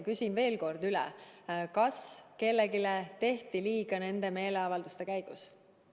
Küsin veel kord üle: kas kellelegi tehti nende meeleavalduste käigus liiga?